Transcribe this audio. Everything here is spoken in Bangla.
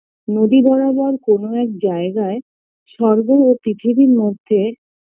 নদী বরাবর কোনো এক জায়গায় স্বর্গ ও পৃথিবীর মধ্যে